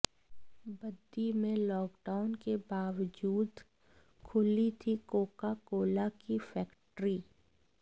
बद्दी में लॉकडाउन के बावजूद खुली थी कोका कोला की फैक्ट्री